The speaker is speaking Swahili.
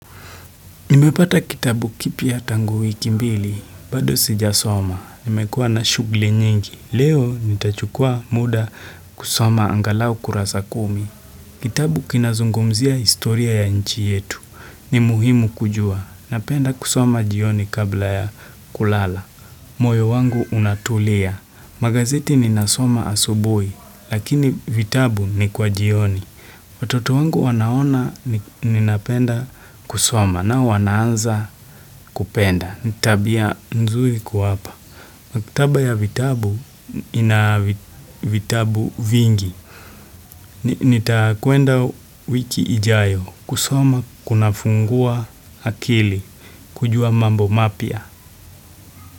Nimepata kitabu kipya tangu wiki mbili, bado sijasoma. Nimekuwa na shughuli nyingi. Leo nitachukua muda kusoma angalau kurasa kumi. Kitabu kinazungumzia historia ya nchi yetu. Ni muhimu kujua. Napenda kusoma jioni kabla ya kulala. Moyo wangu unatulia. Magazeti ninasoma asubuhi, lakini vitabu ni kwa jioni. Watoto wangu wanaona ninapenda kusoma, nao wanaanza kupenda. Ni tabia nzuri kuwapa. Maktaba ya vitabu ina vitabu vingi. Nitakuenda wiki ijayo. Kusoma kunafungua akili. Kujua mambo mapia.